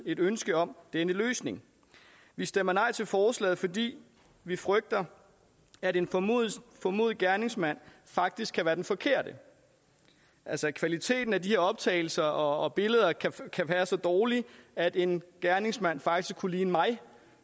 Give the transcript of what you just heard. et ønske om denne løsning vi stemmer nej til forslaget fordi vi frygter at en formodet formodet gerningsmand faktisk kan være den forkerte altså at kvaliteten af de her optagelser og billeder kan være så dårlig at en gerningsmand faktisk kunne ligne mig